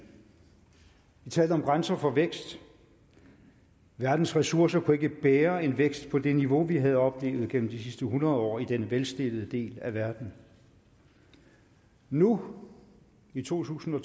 vi talte om grænser for vækst verdens ressourcer kunne ikke bære en vækst på det niveau vi havde oplevet gennem de sidste hundrede år i den velstillede del af verden nu i to tusind og